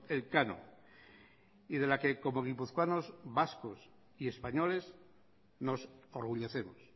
elcano y de la que como guipuzcoanos vascos y españoles nos orgullecemos